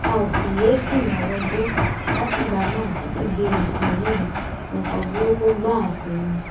a ò sì yéé ṣìnà wọgbó látìgbà náà títí di ìsinyìí nǹkan burúkú gbáà sí ni